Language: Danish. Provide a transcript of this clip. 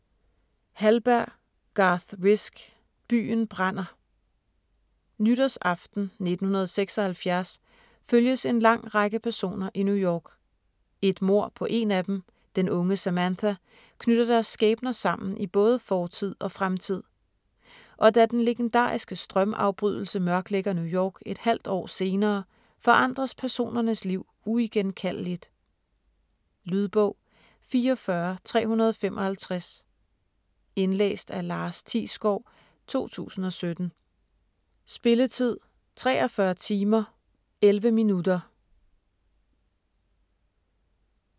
Hallberg, Garth Risk: Byen brænder Nytårsaften 1976 følges en lang række personer i New York. Et mord på en af dem, den unge Samantha, knytter deres skæbner sammen i både fortid og fremtid. Og da den legendariske strømafbrydelse mørklægger New York et halvt år senere, forandres personernes liv uigenkaldeligt. Lydbog 44355 Indlæst af Lars Thiesgaard, 2017. Spilletid: 43 timer, 11 minutter.